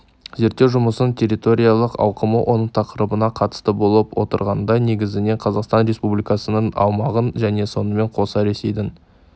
зерттеу жұмысының территориялық ауқымы оның тақырыбына қатысты болып отырғанындай негізінен қазақстан республикасының аумағын және сонымен қоса ресейдің